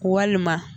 Walima